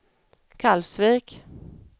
Kalvsvik